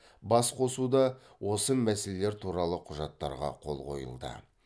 бас қосуда осы мәселелер туралы құжаттарға қол қойылды